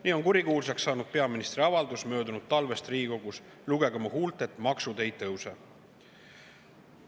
Nii on kurikuulsaks saanud peaministri avaldus möödunud talvest Riigikogus: "Lugege mu huultelt: maksud ei tõuse.